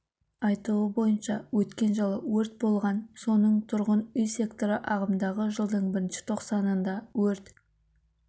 айтуы бойынша өткен жылы өрт болған соның тұрғын үй секторы ағымдағы жылдың бірінші тоқсанында өрт